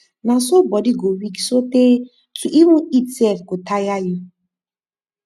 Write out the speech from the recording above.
na so bodi go weak sotay to even eat sef go taya yu